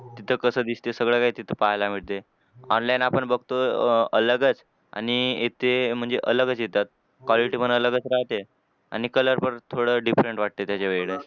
इथं कसं दिसते सगळं काय तिथं पाहायला भेटते. Online आपण बघतो अलगच आणि इथे म्हणजे अलगच येतात. Quality पण अलगच राहते. आणि color परत थोडं different वाटते त्याच्यावेळी.